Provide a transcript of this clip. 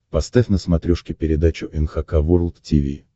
поставь на смотрешке передачу эн эйч кей волд ти ви